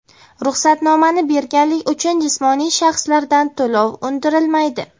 Ruxsatnomani berganlik uchun jismoniy shaxslardan to‘lov undirilmaydi.